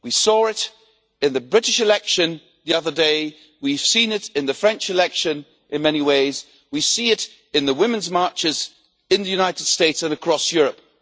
We saw it in the British election the other day, we have seen it in the French election in many ways, and we see it in the women's marches in the United States and across Europe.